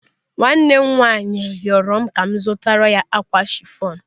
Nwa nwanne m nwaanyị rịọrọ m ka m zụtara ya ákwà chifọn.